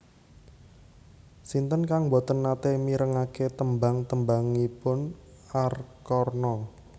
Sinten kang mboten nate mirengake tembang tembangipun Arkarna